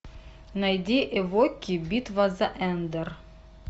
найди эвоки битва за эндор